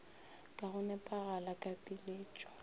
ka go nepagala ka piletšo